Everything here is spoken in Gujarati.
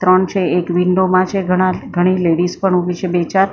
ત્રણ છે. એક વિન્ડો માં છે ઘણા ઘણી લેડીઝ પણ ઉભી છે બે ચાર અ--